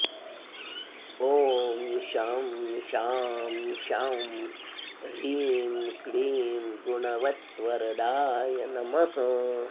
ॐ शं शां षं ह्रीं क्लीं गुणवद्वरदाय नमः